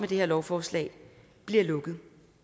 det her lovforslag bliver lukket